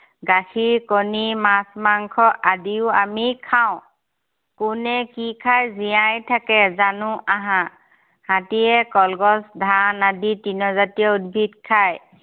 গাখীৰ, কণী, মাছ, মাংস আদিও আমি খাওঁ। কোনে কি খাই জীয়াই থাকে জানো আহা। হাতীয়ে কলগছ, ধান আদি তৃণজাতীয় উদ্ভিদ খায়।